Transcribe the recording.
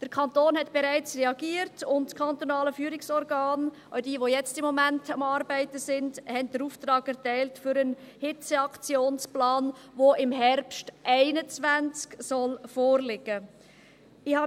Der Kanton hat bereits reagiert, und das Kantonale Führungsorgan (KFO) – auch jenes, das jetzt im Moment am Arbeiten ist – hat den Auftrag für einen Hitzeaktionsplan erteilt, der im Herbst 2021 vorliegen soll.